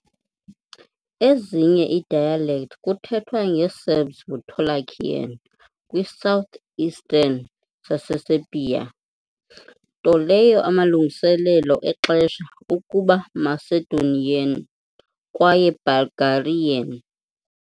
ezinye dialect kuthethwa nge-Serbs ngu Torlakian kwi-southeastern Saseserbia, nto leyo amalungiselelo exesha ukuba Macedonian kwaye Bulgarian.